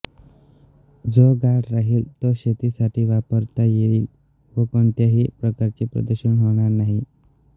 जो गाळ राहील तो शेतीसाठी वापरता येयील व कोणत्याही प्रकारचे प्रदूषण होणार नाही